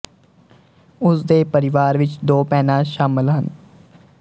ਉਸ ਦੇ ਪਰਿਵਾਰ ਵਿੱਚ ਦੋ ਭੈਣਾਂ ਸ਼ਾਮਲ ਹਨ